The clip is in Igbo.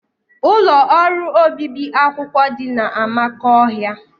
Ụlọ ọrụ obibi akwụkwọ dị na Amakohia